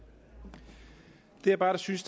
det jeg bare synes